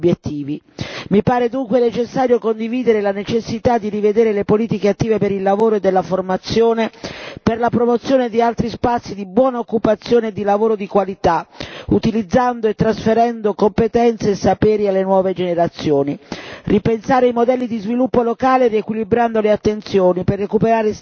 Mi pare dunque necessario condividere la necessità di rivedere le politiche attive per il lavoro e della formazione per la promozione di altri spazi di buona occupazione e di lavoro di qualità, utilizzando e trasferendo competenza e sapere alle nuove generazioni, ripensare i modelli di sviluppo locale, riequilibrando le attenzioni per recuperare stili di vita